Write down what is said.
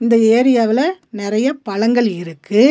இந்த ஏரியாவுல நெறைய பழங்கள் இருக்கு.